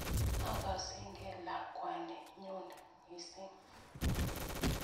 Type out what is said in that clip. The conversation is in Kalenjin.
Akasegen lakwani nyun missing'